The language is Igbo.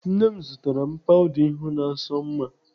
Nne m zụtara m pawuda ihu na-asọ m mma.